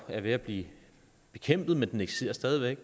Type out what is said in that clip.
er ved at blive bekæmpet men den eksisterer stadig